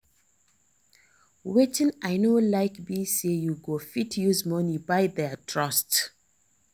Wetin I no like be say you go fit use money buy their trust